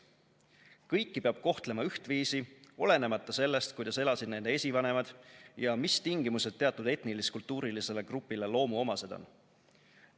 Kõiki peab kohtlema ühtviisi, olenemata sellest, kuidas elasid nende esivanemad ja mis tingimused teatud etnilis-kultuurilisele grupile loomuomased on.